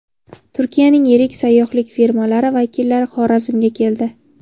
Turkiyaning yirik sayyohlik firmalari vakillari Xorazmga keldi.